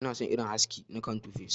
Ina son irin haski na kan 2face.